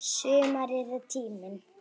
Sumarið er tíminn.